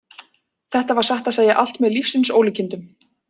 Þetta var satt að segja allt með lífsins ólíkindum.